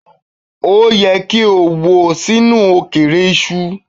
O yẹ ki o wo sinu okeere iṣu